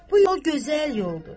Bu yol gözəl yoldur.